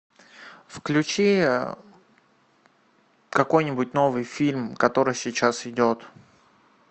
включи какой нибудь новый фильм который сейчас идет